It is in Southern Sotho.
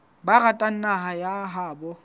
ba ratang naha ya habo